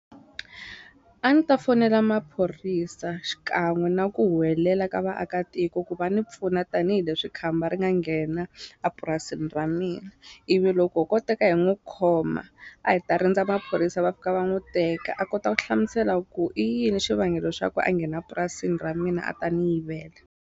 A ni ta fonela maphorisa xikan'we na ku huwelela ka vaakatiko ku va ni pfuna tanihileswi khamba ri nga nghena a purasini ra mina ivi loko ko teka hi n'wu khoma a hi ta rindza maphorisa va fika va n'wu teka a kota ku hlamusela ku i yini xivangelo xa ku a nghena purasini ra mina a ta ni yivela.